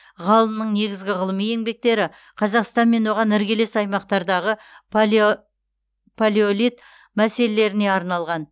ғалымның негізгі ғылыми еңбектері қазақстан мен оған іргелес аймақтардағы палеолит мәселелеріне арналған